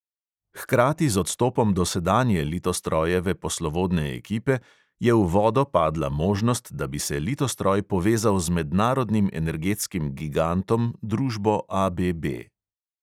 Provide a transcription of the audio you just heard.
Hkrati z odstopom dosedanje litostrojeve poslovodne ekipe je v vodo padla možnost, da bi se litostroj povezal z mednarodnim energetskim gigantom, družbo ABB.